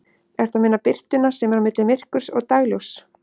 Ertu að meina birtuna sem er á milli myrkurs og dagsljóss?